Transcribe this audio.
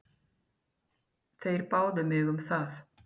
Þeir báðu mig um það.